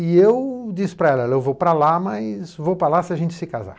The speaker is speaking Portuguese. E eu disse para ela, eu vou pra lá, mas vou pra lá se a gente se casar.